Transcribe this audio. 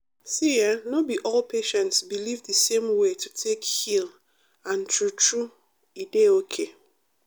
see[um]no be all patients believe the same way to take heal and true true e dey okay.